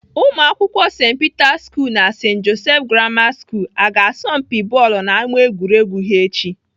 Ụmụakwụkwọ St Peter school na St Joseph Grammar school aga asọ mpi bọọlụ n'ámá egwuregwu echi?